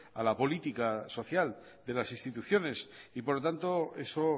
a la política social de las instituciones por lo tanto eso